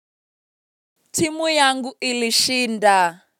Timu yangu ilishinda.